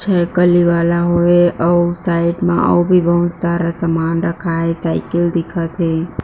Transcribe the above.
छै कली वाला होय अऊ साइड म अउ भी बहुत सारा सामान रखाए हे साइकिल दिखत हे।